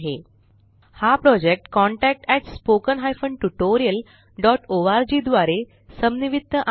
हा project contactspoken tutorialorg द्वारे समन्वित आहे